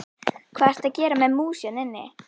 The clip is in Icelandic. Hvað ertu að gera með mús hérna inni?